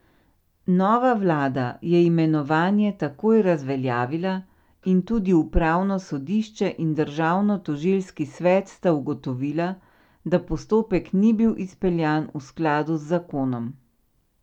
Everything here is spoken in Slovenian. Nova vlada je imenovanje takoj razveljavila in tudi upravno sodišče in državno tožilski svet sta ugotovila, da postopek ni bil izpeljan v skladu z zakonom.